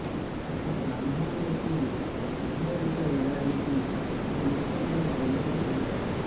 ఒక బ్రాహ్మణునికి బహుమతిగా ఇవ్వడానికి ఇది ఉచితమైన గ్రంథమని చెబుతారు